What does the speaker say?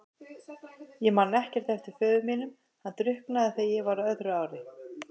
Ég man ekkert eftir föður mínum, hann drukknaði þegar ég var á öðru ári.